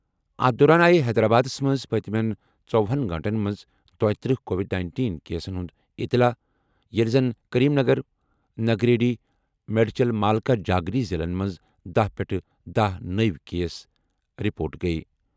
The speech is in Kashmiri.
أتھہِ دوران آیہِ حیدرآبادَس منٛز پٔتمیٚن ژووُہن گٲنٛٹَن منٛز دۄیترٛہ کووِڈ نینٹین کیسَن ہُنٛد اطلاع، ییٚلہِ زن کریم نگر، نگریڈی، میڈچل مالکا جاگری ضِلعن منٛز دَہ پٮ۪ٹھ دَہ نٔوۍ کیس رپورٹ گٔیہِ